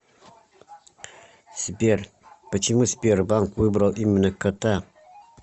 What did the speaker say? сбер почему сбербанк выбрал именно кота